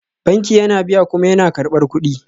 Banki yana biya kuma yana karɓar kuɗi